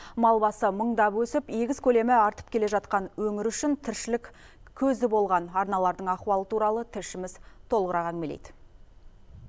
мал басы мыңдап өсіп егіс көлемі артып келе жатқан өңір үшін тіршілік көзі болған арналардың ахуалы туралы тілшіміз толығырақ әңгімелейді